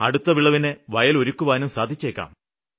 അടുത്ത വിളവിന് വയല് ഒരുക്കുവാനും സാധിച്ചേക്കാം